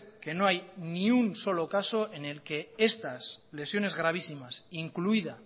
que no hay ni un solo caso en el que estas lesiones gravísimas incluida